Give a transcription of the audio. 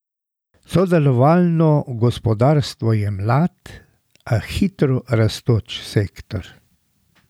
Sodelovalno gospodarstvo je mlad, a hitro rastoč sektor.